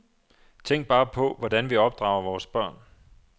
Tænk bare på, hvordan vi opdrager vores børn.